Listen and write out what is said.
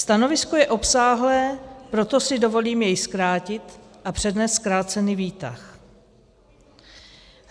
Stanovisko je obsáhlé, proto si dovolím je zkrátit a přednést zkrácený výtah.